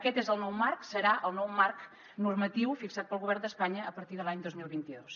aquest és el nou marc serà el nou marc normatiu fixat pel govern d’espanya a partir de l’any dos mil vint dos